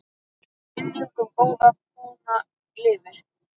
Minning um góða kona lifir.